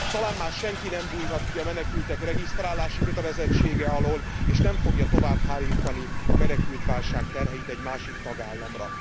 Talán már senki nem bújhat ki a menekültek regisztrálási kötelezettsége alól és nem fogja tovább hárítani a menekültválság terheit egy másik tagállamra.